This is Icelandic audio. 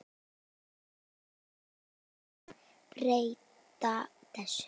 Þarf ekki að breyta þessu?